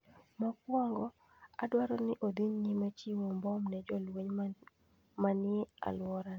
Mokwongo, odwaro ni odhi nyime chiwo mbom ne jolweny manie alworane.